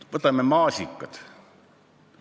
Võtame maasikad.